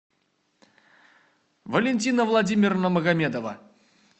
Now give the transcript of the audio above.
валентина владимировна магомедова